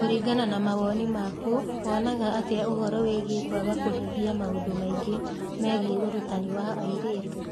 Kũringana na mawoni maku, wonaga atĩa ũhoro wĩgiĩ kwaga kũhingia maũndũ maingĩ megiĩ ũrutani wa airĩtu?